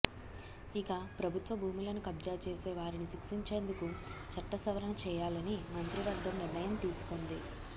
ఇక ప్రభుత్వ భూములను కబ్జా చేసే వారిని శిక్షించేందుకు చట్టసవరణ చేయాలని మంత్రివర్గం నిర్ణయం తీసుకొంది